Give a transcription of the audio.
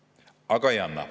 Aga ei anna.